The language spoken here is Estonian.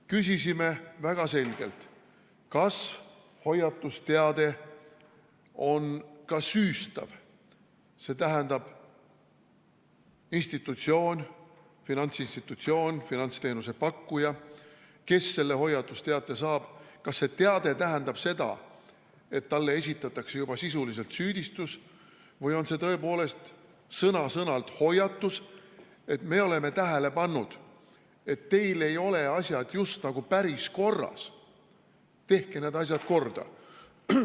Küsisime väga selgelt, kas hoiatusteade on süüstav, st kas institutsioonile, finantsinstitutsioonile, finantsteenuse pakkujale, kes selle hoiatusteate saab, esitatakse juba sisuliselt süüdistus või on see tõepoolest sõna-sõnalt hoiatus, et me oleme tähele pannud, et teil ei ole asjad just nagu päris korras, tehke need korda.